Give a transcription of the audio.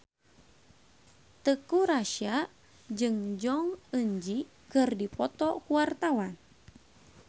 Teuku Rassya jeung Jong Eun Ji keur dipoto ku wartawan